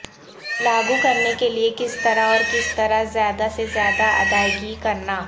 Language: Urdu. لاگو کرنے کے لئے کس طرح اور کس طرح زیادہ سے زیادہ ادائیگی کرنا